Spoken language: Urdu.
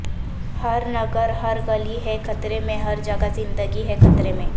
ہر نگر ہر گلی ہے خطرے میں ہر جگہ زندگی ہے خطرے میں